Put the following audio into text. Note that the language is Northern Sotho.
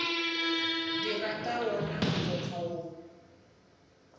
dira ka wona mokgwa wo